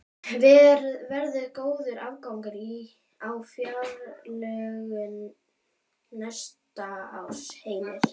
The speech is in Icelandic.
Verður góður afgangur á fjárlögum næsta árs, Heimir?